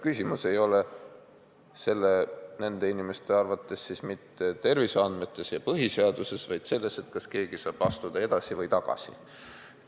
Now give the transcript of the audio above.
Küsimus ei ole nende inimeste arvates mitte terviseandmetes ja põhiseaduses, vaid selles, kas keegi saab astuda edasi või tagasi.